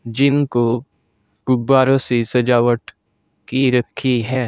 जिनको गुब्बारों से सजावट की रखी है।